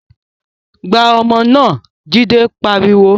Gbá ọmọ náà! Jide pariwo